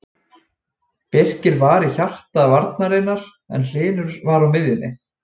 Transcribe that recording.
Birkir var í hjarta varnarinnar en Hlynur var á miðjunni.